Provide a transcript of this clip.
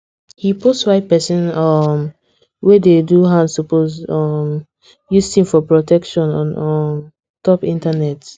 he post why pesin um wey dey do hand suppose um use thing for protection on um top internet